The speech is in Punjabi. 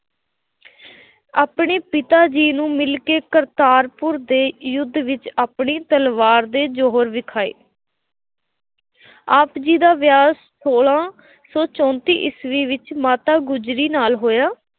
ਆਪਣੇ ਪਿਤਾ ਜੀ ਨੂੰ ਮਿਲ ਕੇ ਕਰਤਾਰਪੁਰ ਦੇ ਯੁੱਧ ਵਿੱਚ ਆਪਣੀ ਤਲਵਾਰ ਦੇ ਜੌਹਰ ਵਿਖਾਏ। ਆਪ ਜੀ ਦਾ ਵਿਆਹ ਸੋਲਾਂ ਸੌ ਚੌਂਤੀਂ ਈਸਵੀ ਵਿੱਚ ਮਾਤਾ ਗੁਜਰੀ ਨਾਲ ਹੋਇਆ।